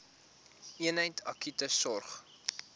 eenheid akute sorg